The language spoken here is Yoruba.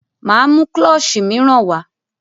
Máa mú klọ́ṣì míràn wá.